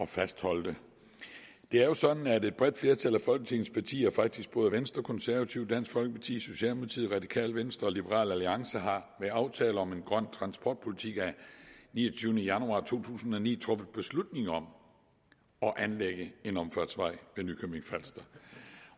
fastholde det det er jo sådan at et bredt flertal af folketingets partier faktisk både venstre konservative dansk folkeparti socialdemokratiet radikale venstre og liberal alliance ved aftale om en grøn transportpolitik af niogtyvende januar to tusind og ni har truffet beslutning om at anlægge en omfartsvej ved nykøbing falster